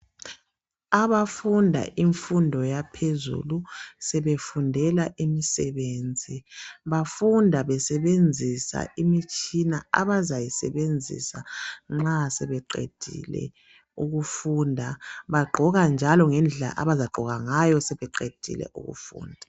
Abafunda imfundo yaphezulu sebefundela imisebenzi bafunda besebenzisa imitshina abazayisebenzisa nxa sebeqedile ukufunda. Bagqoka njalo ngendlela abazagqoka ngayo sebeqedile ukufunda.